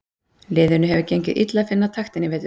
Liðinu hefur gengið illa að finna taktinn í vetur.